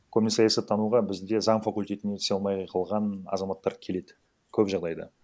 көбіне саясаттануға бізде заң факультетіне түсе алмай қалған азаматтар келеді көп жағдайда